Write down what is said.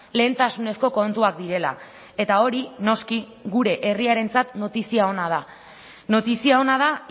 lehentasunezko kontuak direla eta hori noski gure herriarentzat notizia ona da notizia ona da